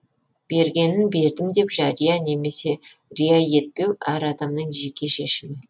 бергенін бердім деп жария немесе рия етпеу әр адамның жеке шешімі